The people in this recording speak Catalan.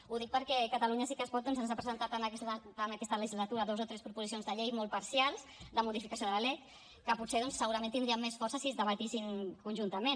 ho dic perquè catalunya sí que es pot doncs ha presentat en aquesta legislatura dues o tres proposicions de llei molt parcials de modificació de la lec que potser doncs segurament tindrien més força si es debatessin conjuntament